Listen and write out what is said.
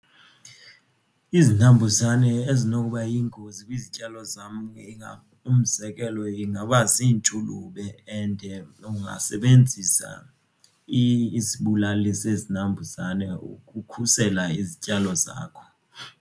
Izinambuzane ezinoba yingozi kwizityalo zam umzekelo ingaba zintshulube and ungasebenzisa isibulali sezinambuzane ukukhusela izityalo zakho.